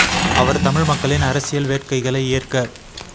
அவர் தமிழ் மக்களின் அரசியல் வேட்கைகளை ஏற்க